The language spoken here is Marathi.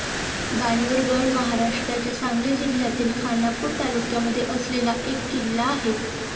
बाणूरगड महाराष्ट्राच्या सांगली जिल्यातील खानापूर तालुक्यामध्ये असलेला एक किल्ला आहे.